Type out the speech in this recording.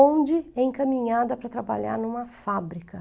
onde é encaminhada para trabalhar numa fábrica.